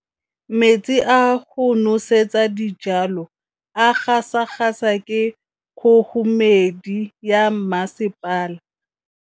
Metsi a go nosetsa dijalo a gasa gasa ke kgogomedi ya masepala.